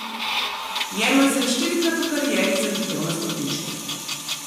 Jerman se je štirikrat v karieri zavihtel na stopničke.